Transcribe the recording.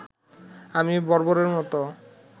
আমি বর্বরের মতো